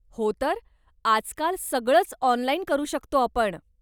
हो तर, आजकाल सगळंच ऑनलाईन करू शकतो आपण.